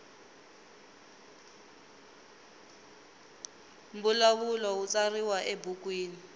mbulavulo wu tsariwa ebukwini